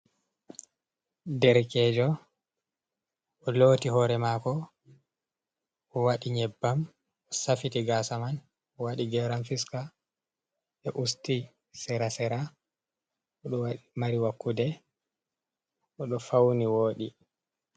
Derkejo, o looti hoore maako, o waɗi nyebbam o safiti gaasa man. o waɗi geram fiska usti serasera odo mari wakkude odo fauni wooɗi.